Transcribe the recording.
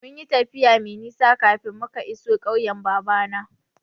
Mun yi tafiya mai nisa kafin muka iso ƙauyen babana.